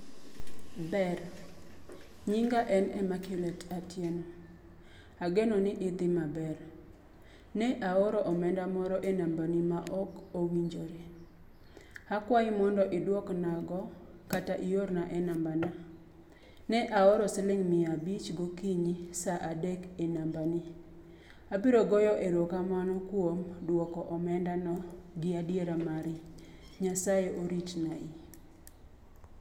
Ber, nyinga en Emmaculate Atieno. Ageno ni idhi maber. Ne aoro omenda mor e namba ni ma ok owinjore. Akwayi mondo idwok nago kata iorna e namba na. Ne aoro siling mia abich gokiny sa adek e namba ni. Abiro goyo erokamano kuom duoko omenda no gi adiara mari. Nyasaye irit nai.